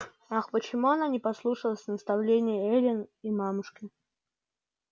ах почему она не послушалась наставлении эллин и мамушки